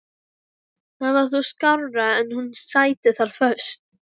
Það var þó skárra en hún sæti þar föst.